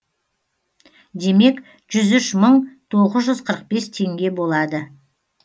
демек жүз үш мың тоғыз жүз қырық бес теңге болады